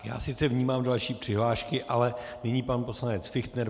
Já sice vnímám další přihlášky, ale nyní pan poslanec Fichtner.